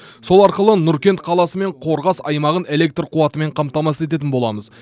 сол арқылы нұркент қаласы мен қорғас аймағын электр қуатымен қамтамасыз ететін боламыз